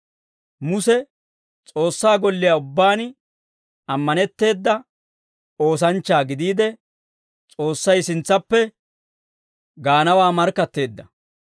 Muse S'oossaa golliyaa ubbaan ammanetteeda oosanchchaa gidiide, S'oossay sintsaappe gaanawaa markkatteedda.